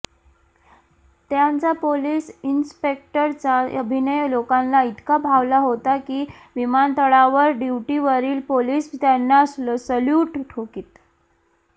त्यांचा पोलीस इन्स्पेक्टरचा अभिनय लोकांना इतका भावला होता की विमानतळावर ड्युटीवरील पोलीस त्यांना सॅल्यूट ठोकीत